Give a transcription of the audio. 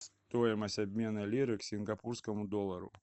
стоимость обмена лиры к сингапурскому доллару